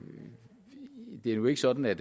er nu ikke sådan at